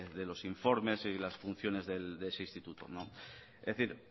de los informes y las funciones de ese instituto es decir